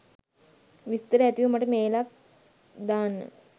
විස්තර ඇතිව මට මේලක් දාන්න.